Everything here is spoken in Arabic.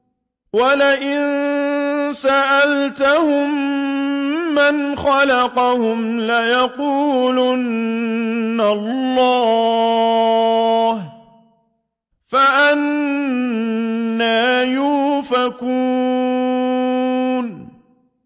وَلَئِن سَأَلْتَهُم مَّنْ خَلَقَهُمْ لَيَقُولُنَّ اللَّهُ ۖ فَأَنَّىٰ يُؤْفَكُونَ